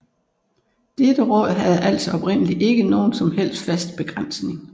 Dette råd havde altså oprindelig ikke nogen som helst fast begrænsning